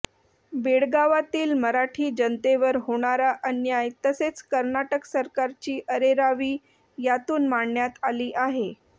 बेळगावातील मराठी जनतेवर होणारा अन्याय तसेच कर्नाटक सरकारची अरेरावी यातून मांडण्यात आली आहे